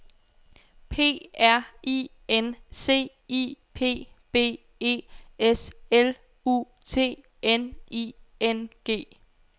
P R I N C I P B E S L U T N I N G